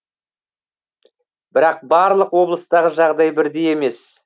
бірақ барлық облыстағы жағдай бірдей емес